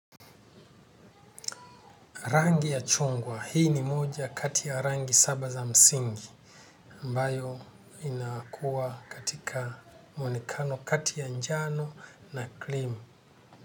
Rangi ya chungwa hii ni moja kati ya rangi saba za msingi ambayo inakuwa katika mwonekano kati ya njano na klimu.